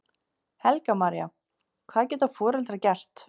Helga María: Hvað geta foreldrar gert?